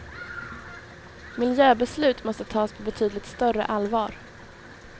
Miljöbeslut måste tas på betydligt större allvar.